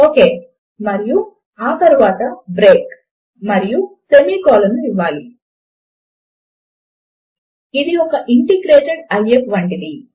ఒకే మరియు ఆ తరువాత బ్రేక్ మరియు సెమీ కోలన్ ను ఇవ్వాలి ఇది ఒక ఇంటిగ్రేటేడ్ ఐఎఫ్ వంటిది